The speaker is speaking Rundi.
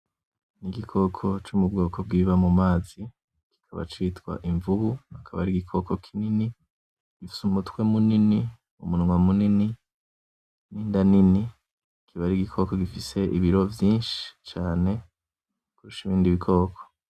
Igikoko co mu bwoko bw'ibiba mu mazi kikaba citwa imvubu. Kikaba ari igikoko kinini gifise umutwe munini, umunwa munini, n'inda nini. Kiba ari igikoko gifise ibiro vyinshi cane kurusha ibindi bikoko.